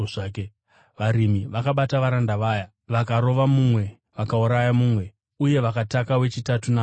“Varimi vakabata varanda vaya, vakarova mumwe, vakauraya mumwe, uye vakataka wechitatu namabwe.